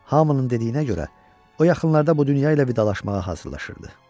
Hamının dediyinə görə, o yaxınlarda bu dünya ilə vidalaşmağa hazırlaşırdı.